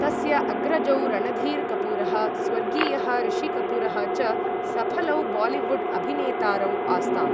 तस्य अग्रजौ, रणधीर् कपूरः, स्वर्गीयः ऋषि कपूरः च सफलौ बालीवुड् अभिनेतारौ आस्ताम्।